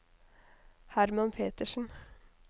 Hermann Petersen